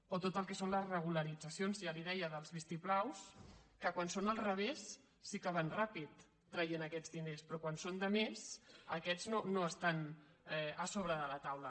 o tot el que són les regularitzacions ja li deia dels vistiplaus que quan són al revés sí que van ràpid traient aquests diners però quan són de més aquests no estan a sobre de la taula